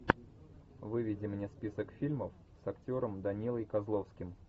выведи мне список фильмов с актером данилой козловским